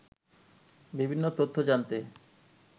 বিভিন্ন তথ্য জানতে